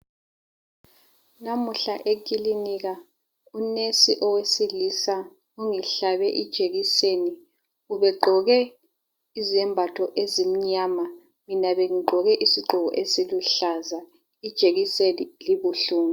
Namuhla ekilinika unesi owesilisa ungihlabe ijekiseni. Ube gqoke izembatho ezimnyama. Mina bengigqoke izigqoko esiluhlaza. Ijekiseni ibuhlungu.